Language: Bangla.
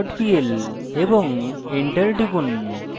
এবং enter টিপুন